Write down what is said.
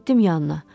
Getdim yanına.